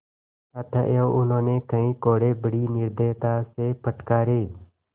अतएव उन्होंने कई कोडे़ बड़ी निर्दयता से फटकारे